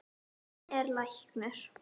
Hann er læknir.